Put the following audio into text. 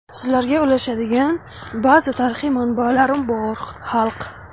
Sizlarga ulashadigan ba’zi tarixiy manbalarim bor, xalq.